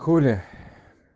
хули